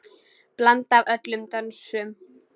Blanda af öllum dönsum.